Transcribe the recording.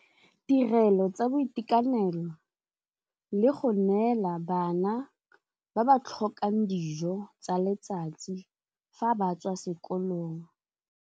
Tirelo tsa boitekanelo le go neela bana ba ba tlhokang dijo tsa letsatsi fa ba tswa sekolong.